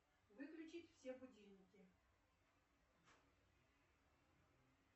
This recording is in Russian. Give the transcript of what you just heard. выключить все будильники